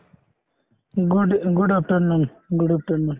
good uh good afternoon good afternoon